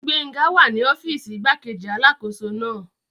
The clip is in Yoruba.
Gbénga wà ní ọ́fìsì igbákejì alákóso náà